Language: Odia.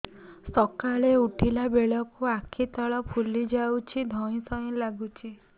ସକାଳେ ଉଠିଲା ବେଳକୁ ଆଖି ତଳ ଫୁଲି ଯାଉଛି ଧଇଁ ସଇଁ ଲାଗୁଚି